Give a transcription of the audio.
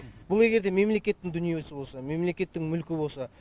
бұл егер де мемлекеттің дүниесі болса мемлекеттің мүлкі болса